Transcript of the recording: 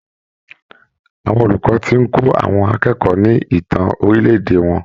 Àwọn olùkọ́ tí ń kó àwọn akẹ́kọ̀ọ́ ni ìtàn orílè-èdè wọn.